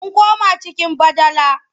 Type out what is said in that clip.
Mun koma cikin badala.